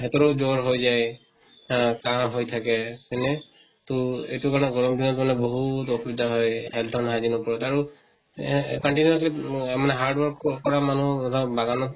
হেঁতৰো জ্বৰ হৈ যায়। আহ কাহ হৈ থাকে, হয় নে? তʼ এইটো কাৰণে গৰম দিনত মানে বহুত অসুবিধা হয়, health ৰ hygiene ৰ উপৰত আৰু আহ continuously অম hard work ক কৰা মানুহ ধৰা বাগানত